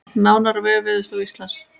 Nánar á vef Veðurstofu Íslands